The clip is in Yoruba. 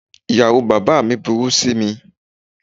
Ìyàwó bàbá mi burú sí mi.